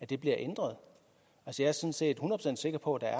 det ændrer ikke på at